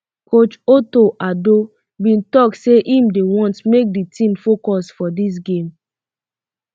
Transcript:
coach um otto addo bin tok say im dey want make di team focus for dis game